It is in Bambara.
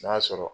N'a sɔrɔ